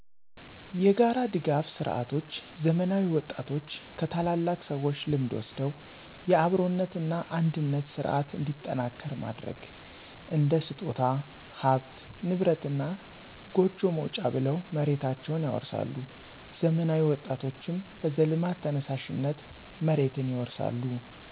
የጋራ ድጋፍ ስርዓቶች ዘመናዊ ወጣቶች ከታላላቅ ሰዎች ልምድ ወስደው የአብሮነት እና አንድነት ስርዓት እንዲጠናከር ማድረግ። እንደ ስጦታ፣ ሀብት ንብረት እና ጎጆ መውጫ ብለው መሬታቸውን ያወርሳሉ ዘመናዊ ወጣቶችም በዘልማድ ተነሳሽነት መሬትን ይወርሳሉ።